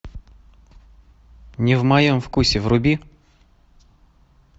не в моем вкусе вруби